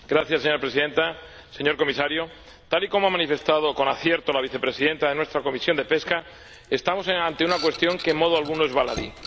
Señora Presidenta, señor Comisario, tal y como ha manifestado, con acierto, la vicepresidenta de nuestra Comisión de Pesca, estamos ante una cuestión que en modo alguno es baladí.